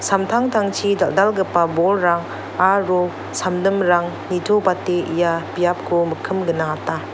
samtangtangchi dal·dalgipa bolrang aro samdimrang nitobate ia biapko mikkim gnangata.